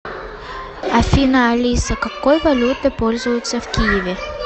афина алиса какой валютой пользуются в киеве